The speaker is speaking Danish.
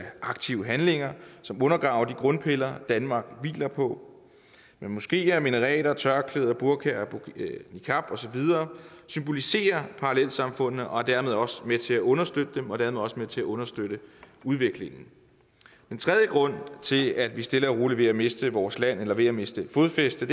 aktive handlinger som undergraver de grundpiller danmark hviler på moskeer minareter tørklæde burka og niqab og så videre symboliserer parallelsamfundene og er dermed også med til at understøtte dem og dermed også med til at understøtte udviklingen den tredje grund til at vi stille og roligt er ved at miste vores land eller ved at miste fodfæste